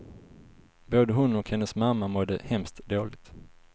Både hon och hennes mamma mådde hemskt dåligt.